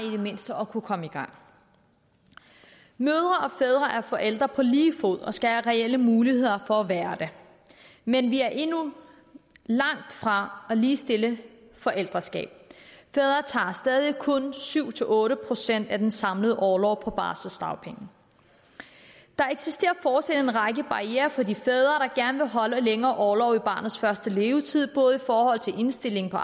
i det mindste at kunne komme i gang mødre og fædre er forældre på lige fod og skal have reelle muligheder for at være det men vi er endnu langtfra at ligestille forældreskabet fædre tager stadig kun syv otte procent af den samlede orlov på barselsdagpenge der eksisterer fortsat en række barrierer for de fædre der gerne vil holde en længere orlov i barnets første levetid både i forhold til indstillingen på